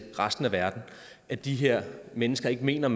resten af verden at de her mennesker ikke mener